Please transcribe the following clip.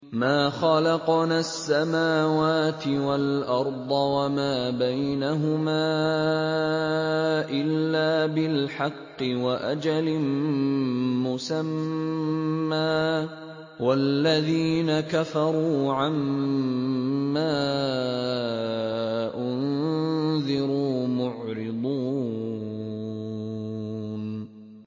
مَا خَلَقْنَا السَّمَاوَاتِ وَالْأَرْضَ وَمَا بَيْنَهُمَا إِلَّا بِالْحَقِّ وَأَجَلٍ مُّسَمًّى ۚ وَالَّذِينَ كَفَرُوا عَمَّا أُنذِرُوا مُعْرِضُونَ